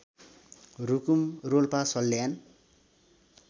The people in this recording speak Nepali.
रुकुम रोल्पा सल्यान